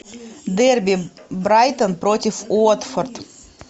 дерби брайтон против уотфорд